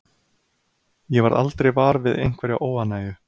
Ég varð aldrei var við einhverja óánægju.